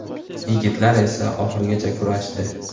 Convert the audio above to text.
Yigitlar esa oxirigacha kurashdi.